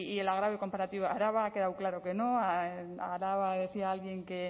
el agravio comparativo a araba ha quedado claro que no araba decía alguien que